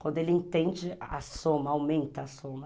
Quando ele entende a soma, aumenta a soma.